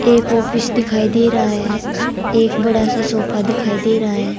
एक ऑफिस दिखाई दे रहा है एक बड़ा सा सोफा दिखाई दे रहा है।